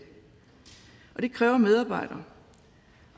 og det kræver medarbejdere